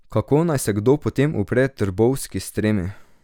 Kako naj se kdo potem upre trbovski s tremi?